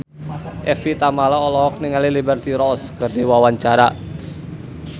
Evie Tamala olohok ningali Liberty Ross keur diwawancara